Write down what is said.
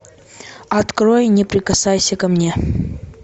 открой не прикасайся ко мне